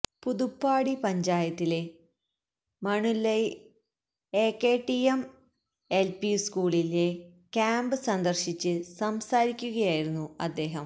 പുതുപ്പാടി പഞ്ചായത്തിലെ Manalvayal AKTM LP സ്കൂളിലെ camp സന്ദര്ശിച്ച് സംസാരിക്കുകയായിരുന്നു അദ്ദേഹം